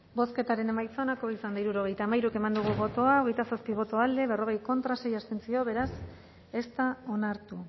bozketaren emaitza onako izan da hirurogeita hamairu eman dugu bozka hogeita zazpi boto alde berrogei contra sei abstentzio beraz ez da onartu